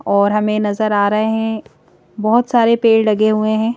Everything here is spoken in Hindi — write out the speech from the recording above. और हमें नजर आ रहे हैं बहुत सारे पेड़ लगे हुए हैं।